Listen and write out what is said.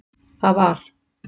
Það var